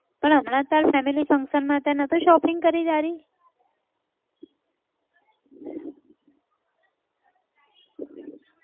પણ હમણા તારે family function માં તે નહતું shopping કરી તારી?